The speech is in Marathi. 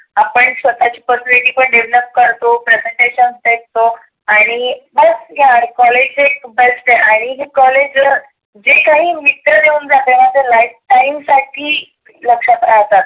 आणि आपण स्वतःची पण personality पण develop करतो. presentations घेतो. आणि बस यार कॉलेज एक best आहे. आणि college ते काही देऊन जातेना ते life time साठी लक्षात राहतात.